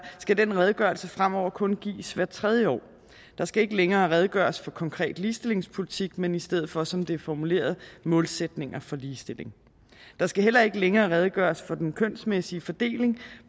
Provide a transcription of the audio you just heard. skal den redegørelse fremover kun gives hvert tredje år der skal ikke længere redegøres for konkret ligestillingspolitik men i stedet for som det er formuleret målsætninger for ligestilling der skal heller ikke længere redegøres for den kønsmæssige fordeling